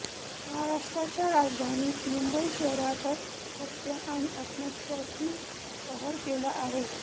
महाराष्ट्राच्या राजधानीत मुंबई शहरातच हत्या आणि आत्महत्यांनी कहर केला आहे